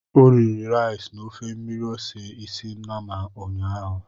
O riri rice na ofe mmiri ose isi nnama ụnyaahụ.